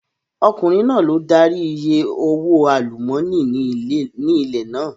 Ọkùnrin náà ló darí I ìyè owó àlúmọ́nì ní ilẹ̀ náà.